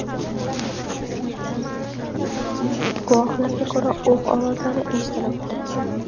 Guvohlarga ko‘ra, o‘q ovozlari eshitilib turibdi.